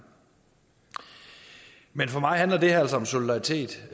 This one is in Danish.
men for mig handler det her altså om solidaritet